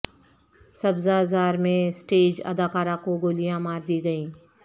سبزہ زار میں سٹیج اداکارہ کو گولیاں مار دی گئیں